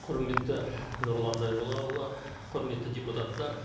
құрметті нұрлан зайроллаұлы құрметті депутаттар